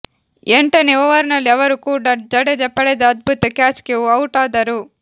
ಎಂಟನೇ ಓವರ್ನಲ್ಲಿ ಅವರು ಕೂಡ ಜಡೇಜ ಪಡೆದ ಅದ್ಭುತ ಕ್ಯಾಚ್ಗೆ ಔಟಾದರು